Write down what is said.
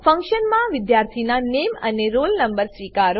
ફંક્શનમાં વિદ્યાર્થીનાં નામે અને રોલ નો સ્વીકારો